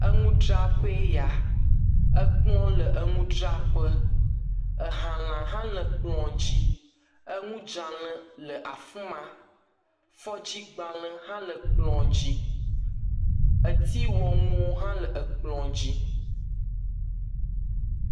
Eŋudraƒee ya. Ekplɔ̃ le enudraƒe. Ehalã hã le kplɔ̃ dzi. Eŋudzalẽ le afi ma. Fɔddzigbalẽ hã le kplɔ̃ dzi. Etiiwɔnuwo hã le ekplɔ̃ dzi.